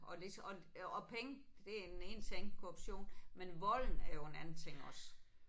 Og ligeså og og penge det er den ene ting korruption men volden er jo en anden ting også